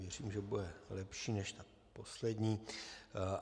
Myslím, že bude lepší než ta poslední.